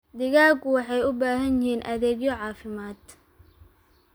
Digaagga waxay u baahan yihiin adeegyo caafimaad.